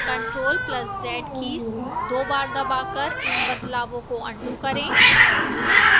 ctrl + z keys दो बार दबाकर इन बदलावों को अन्डू करें